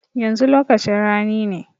Yanzu lokacin rani ne.